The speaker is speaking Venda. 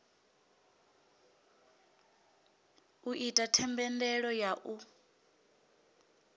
u ita themendelo ya u